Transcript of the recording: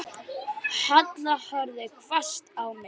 Ég er í vist hérna.